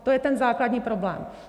To je ten základní problém.